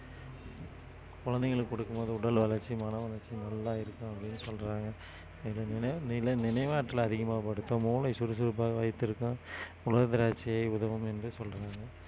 குழந்தைங்களுக்கு கொடுக்கும் போது உடல் வளர்ச்சி, மனவளர்ச்சி நல்லா இருக்கும் அப்படின்னு சொல்றாங்க இது நினை~ நிலை~ நினைவாற்றல் அதிகமா படுத்தும் மூளை சுறுசுறுப்பாக வைத்திருக்கும் உலர் திராட்சையை உதவும் என்று சொல்றாங்க